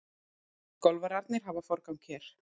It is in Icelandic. Golfararnir hafa forgang hér.